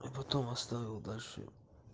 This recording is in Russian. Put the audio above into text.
и потом оставил дальше